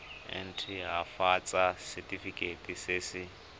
nt hafatsa setefikeiti se se